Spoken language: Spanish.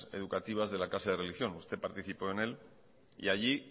educativas de la clase de religión usted participó en él y allí